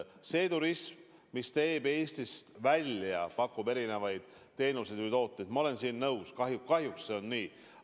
See turism, mis pakub teenuseid Eestist väljapoole – ma olen nõus, kahjuks see seisab.